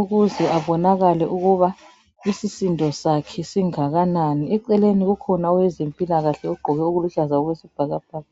ukuze abonakale ukuba isisindo sakhe singakanani eceleni kukhona owezempilakahle ogqoke oluluhlaza okwesibhakabhaka.